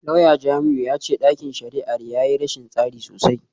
Lauya Jamiu ya ce dakin shari’ar ya yi rashin tsari sosai.